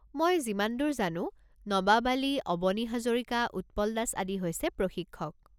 মই যিমান দূৰ জানো, নবাব আলি, অবনী হাজৰিকা, উৎপল দাস আদি হৈছে প্ৰশিক্ষক।